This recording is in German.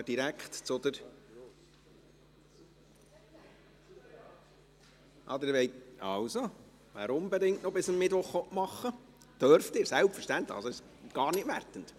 Ach, Sie wollen … Also, wer unbedingt noch bis am Mittwoch machen will … Das dürfen Sie selbstverständlich, es ist gar nicht wertend.